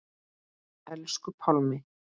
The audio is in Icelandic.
Elsku Pálmi.